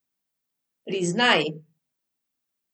Priznaj!